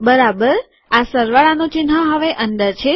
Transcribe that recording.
બરાબર આ સરવાળાનું ચિહ્ન હવે અંદર છે